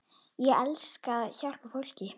Ég elska að hjálpa fólki.